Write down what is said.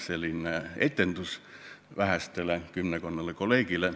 See on ainult etendus vähestele, kümmekonnale kolleegile.